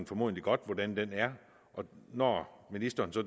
formodentlig godt hvordan den er så når ministeren